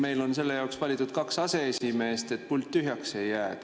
Meil on selle jaoks valitud kaks aseesimeest, et pult tühjaks ei jääks.